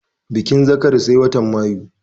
Bikin zakari sai watan mayu